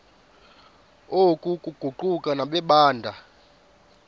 oku kuquka nabeendaba